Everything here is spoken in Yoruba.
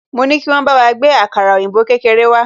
Mo ní kí wọ́n bá wa gbé àkàrà òyìnbó kékeré wá